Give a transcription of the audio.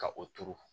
Ka o turu